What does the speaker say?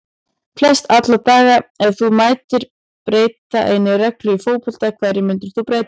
Flest alla daga Ef þú mættir breyta einni reglu í fótbolta, hverju myndir þú breyta?